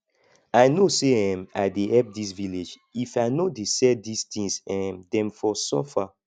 i no say um i dey help this village if i no dey sell this tings um dem for suffer